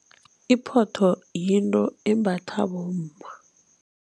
Iphotho yinto embathwa bomma.